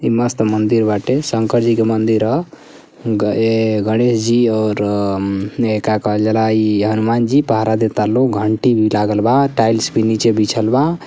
ई मस्त मंदिर बाटे शंकर जी के मंदिर ह। ए- गणेश जी और हम्म ए का कहल जाला ई हनुमान जी पहरा देता लोग घंटी लागल बा टाइल्स भी नीचे बिछल बा।